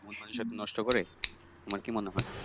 মন নষ্ট করে। তোমার কি মনে হয়?